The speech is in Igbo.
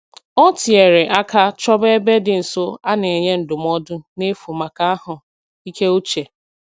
O tinyere aka chọba ebe dị nso a na-enye ndụmọdụ n'efu maka ahụ ike uche